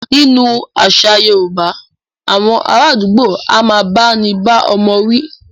Nínú àṣà yorúbá, awọn ará àdúgbò a máà bá ní bá ọmọ wí.